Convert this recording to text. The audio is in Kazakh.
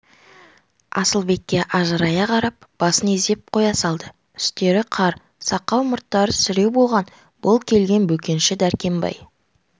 асылбекке ажырая қарап басын изеп қоя салды үстері қар сақал-мұрттары сіреу болған бұл келген бөкенші дәркембай